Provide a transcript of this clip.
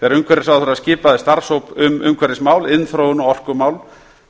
þegar umhverfisráðherra skipaði starfshóp um umhverfismál iðnþróun og orkumál